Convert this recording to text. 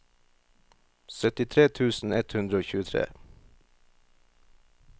syttitre tusen ett hundre og tjuetre